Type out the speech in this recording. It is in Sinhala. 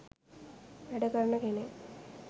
වැඩ කරන කෙනෙක්.